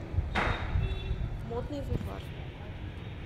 модный бульвар